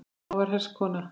Amma var hress kona.